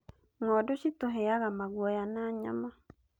Ng'ondu citũheaga maguoya na nyama